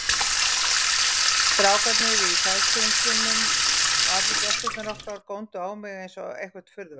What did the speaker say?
Strákarnir í Sæskrímslunum og allir gestirnir okkar góndu á mig einsog eitthvert furðuverk.